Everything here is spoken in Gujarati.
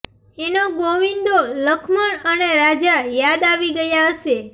એનો ગોવિંદો લખમણ અને રાજા યાદ આવી ગયા હશે